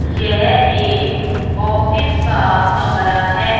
यह एक ऑफिस का कमरा है।